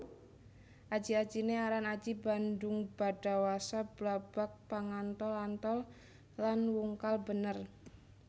Aji ajiné aran aji bandhungbadawasa Blabag Pangantol antol lan Wungkal bener